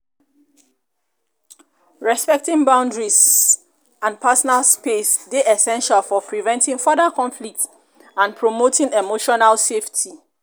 respecting boundaries and personal space dey essential for preventing further conflict and promoting emotional safety.